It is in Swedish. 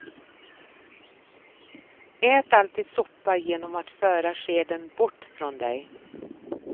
Ät alltid soppa genom att föra skeden bort från dig.